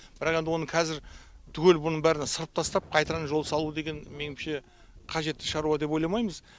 бірақ енді оны қазір түгел бұның бәрін ысырып тастап қайтадан жол салу деген менімше қажетті шаруа деп ойламаймыз